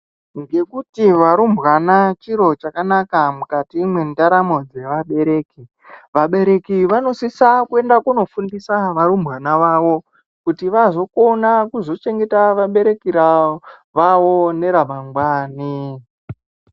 Ngekuti varumbwana chiro chakanaka mukati mwendaramo dzevabereki. Vabereki vanosisa kuenda kunofundisa varumbwana vavo kuti vazokona kuzochengeta vabereki vavo neramangwani.